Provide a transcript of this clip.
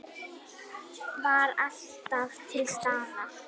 Var alltaf til staðar.